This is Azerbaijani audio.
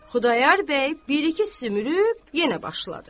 Xudayar bir-iki sümürüb yenə başladı.